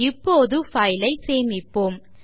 இப்போது file ஐ சேமிப்போம்